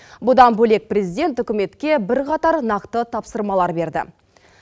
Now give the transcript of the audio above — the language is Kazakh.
бұдан бөлек президент үкіметке бірқатар нақты тапсырмалар берді